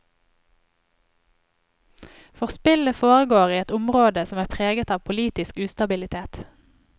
For spillet foregår i et område som er preget av politisk ustabilitet.